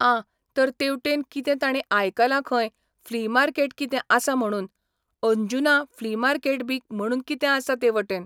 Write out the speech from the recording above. आ तर तें तेवटेन कितें ताणी आयकलां खंय फ्ली मार्केट कितें आसा म्हणून, अंजुना फ्ली मार्केट बी म्हणून कितें आसा ते वटेन